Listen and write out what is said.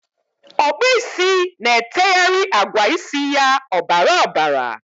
Okpu isi na-eteghara agwa isi ya obara obara.